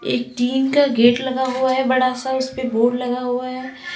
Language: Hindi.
एक टीन का गेट लगा हुआ है बड़ा सा उस पे बोर्ड लगा हुआ है।